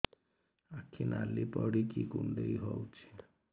ଆଖି ନାଲି ପଡିକି କୁଣ୍ଡେଇ ହଉଛି